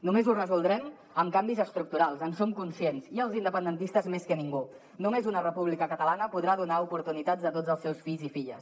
només ho resoldrem amb canvis estructurals en som conscients i els independentistes més que ningú només una república catalana podrà donar oportunitats a tots els seus fills i filles